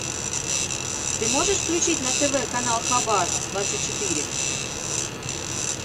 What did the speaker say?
ты можешь включить на тв канал хабар двадцать четыре